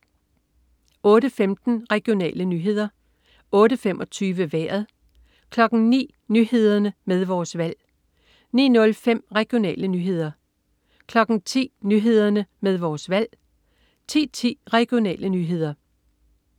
08.15 Regionale nyheder 08.25 Vejret 09.00 Nyhederne med Vores Valg 09.05 Regionale nyheder 10.00 Nyhederne med Vores Valg 10.10 Regionale nyheder